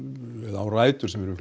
hinsvegar rætur sem eru